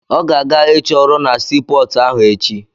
Ọ ga-aga ịchọ ọrụ na sii pọọtụ ahụ echi.